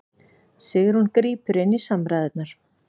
Sigrún grípur inn í samræðurnar